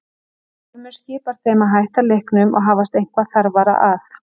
Ormur skipar þeim að hætta leiknum og hafast eitthvað þarfara að.